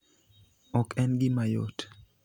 Ok en gima yot.